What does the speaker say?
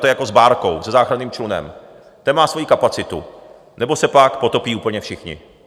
to je jako s bárkou, se záchranným člunem, ten má svoji kapacitu, nebo se pak potopí úplně všichni.